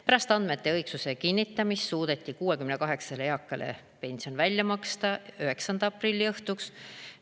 Pärast andmete õigsuse kinnitamist suudeti 68 eakale pension välja maksta 9. aprilli õhtuks.